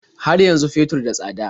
Har yanzu fetur da tsada?